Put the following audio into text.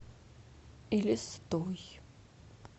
элистой